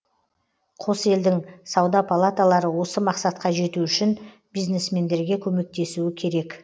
қос елдің сауда палаталары осы мақсатқа жету үшін бизнесмендерге көмектесуі керек